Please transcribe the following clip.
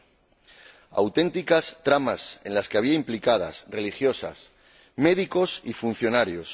90. Auténticas tramas, en las que estaban implicados religiosas, médicos y funcionarios